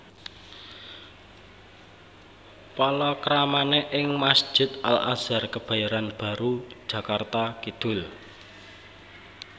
Palakramané ing Masjid Al Azhar Kebayoran Baru Jakarta Kidul